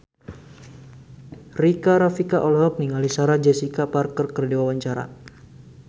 Rika Rafika olohok ningali Sarah Jessica Parker keur diwawancara